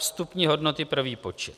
Vstupní hodnoty pro výpočet.